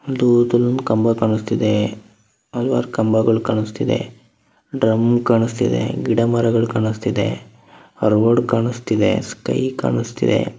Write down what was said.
ಒಂದು ಇದರಲ್ಲಿ ಕಂಬ ಕಾನಿಸ್ತಾ ಇದೆ ಹಲವಾರು ಕಂಬಗಳು ಕಾನಿಸ್ತಾಇದೆ ಡ್ರಮ್ ಕಾನಿಸ್ತಾಇದೆ ಗಿಡ ಮರಗಳು ಕಾನಿಸ್ತಾ ಇದೆ ಅಲ್ಲಿ ರೋಡ್ ಕಾನಿಸ್ತಾಇದೆ ಸ್ಕೈ ಕಾನಿಸ್ತಾಇದೆ.